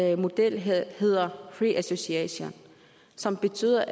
af modellerne hedder free association som betyder